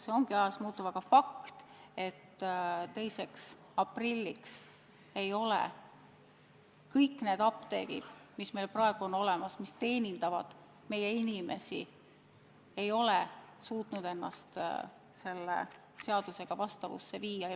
See ongi ajas muutuv, aga on fakt, et 2. aprilliks ei ole kõik need apteegid, mis meil praegu on olemas ja mis teenindavad meie inimesi, suutnud ennast selle seadusega vastavusse viia.